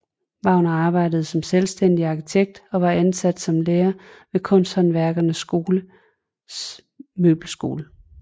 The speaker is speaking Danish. Wegner arbejdede som selvstændig arkitekt og var ansat som lærer ved Kunsthåndværkerskolens Møbelskole